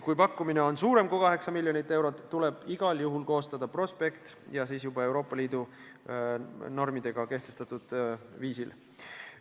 Kui pakkumine on suurem kui 8 miljonit eurot, tuleb igal juhul koostada prospekt ja siis juba Euroopa Liidu normidega ette nähtud viisil.